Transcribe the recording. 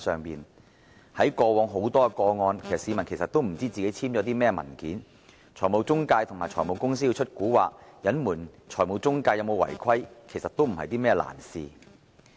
在過往眾多個案中，市民其實不知道自己簽了甚麼文件，財務中介和財務公司如果想使詐隱瞞財務中介有否違規，其實並非難事。